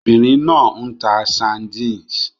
Obìnrin náà ń ta sardines